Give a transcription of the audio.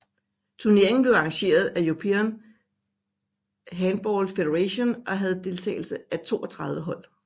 Turneringen blev arrangeret af European Handball Federation og havde deltagelse af 32 hold